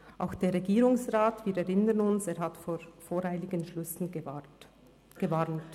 Auch der Regierungsrat – wir erinnern uns – hat vor voreiligen Schlüssen gewarnt.